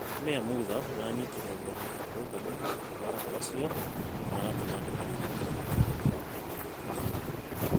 Mĩya Mutha nĩaranyitire ũgeni arũrũngani akiuga atĩ andũ acio nĩmaratũma ndũmĩrĩri kũrĩ mũtongoria wa bũrũri Thuo.